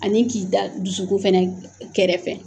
Ani k'i da dusukun fɛnɛ kɛrɛfɛ